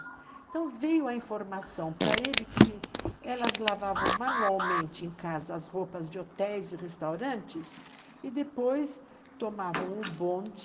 Então veio a informação para ele que elas lavavam manualmente em casa as roupas de hotéis e restaurantes e depois tomavam o bonde